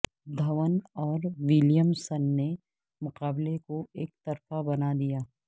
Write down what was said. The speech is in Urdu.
دھون اور ولیمسن نے مقابلے کو یکطرفہ بنا دیا